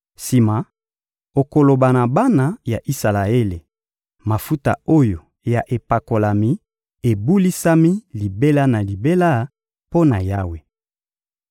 Sima, okoloba na bana ya Isalaele: «Mafuta oyo ya epakolami ebulisami libela na libela mpo na Yawe.